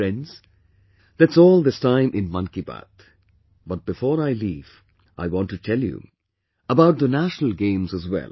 Friends, that's all this time in 'Mann Ki Baat', but before I leave, I want to tell you about the National Games as well